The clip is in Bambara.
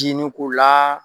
Dinin k'u la.